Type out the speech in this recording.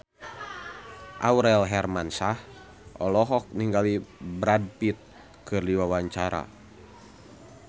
Aurel Hermansyah olohok ningali Brad Pitt keur diwawancara